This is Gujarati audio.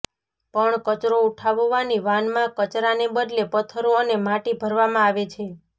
પણ કચરો ઉઠાવવાની વાનમાં કચરાંને બદલે પથ્થરો અને માટી ભરવામાં આવે છે